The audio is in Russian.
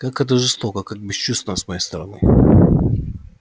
как это жестоко как бесчувственно с моей стороны